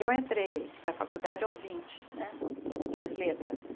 Eu entrei para a faculdade aos vinte, né fiz letras.